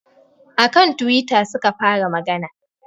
A kan twitter suka fara magana